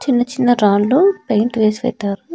చిన్న చిన్న రాళ్ళు పెయింట్ వేసి పెట్టారు.